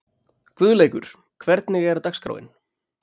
Guðleikur, hvernig er dagskráin?